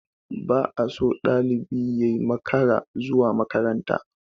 Ba a so ɗalibi yai makarar zuwa makaranta.